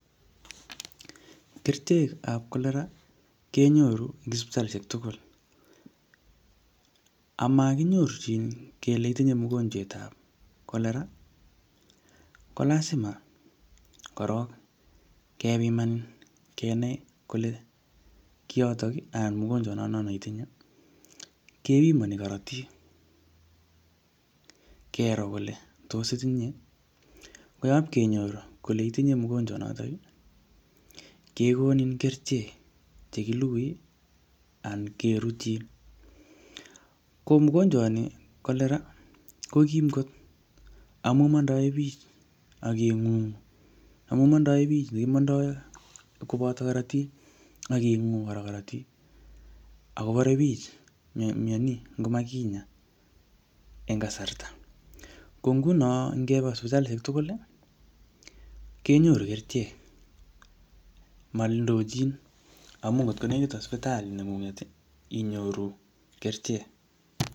Kerichek ab cholera, kenyoru eng sipitalishek tugul. Amakinyorchin kele itinye mogonjwetab cholera, ko lazima korok kepiman kenai kole kiyotok, anan mogonjwat notono neitinye. Kepimani korotik, kero kole tos itinye? Ko yapkenyor kole itinye mogonjwat notok, kekonin kerichek che kilugui, anan kerutchin. Ko mogonjwat ni cholera, ko kim kot amu mondoe biich aking'ung'u. Amu mondoe biich ne kimondoi koboto korotik, aking'ung'u kora korotik. Ako bore biich myani, ngot makinyaa eng kasarta. Ko nguno kebo sipitalishek tugul, kenyoru kerichek, maloochin. Amu ngot ko nekit sipitalit neng'ung'et inyoru kerichek.